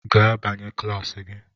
Gaa banye kilasi gi!